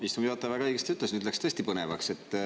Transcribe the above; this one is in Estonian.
Istungi juhataja väga õigesti ütles, nüüd läks tõesti põnevaks.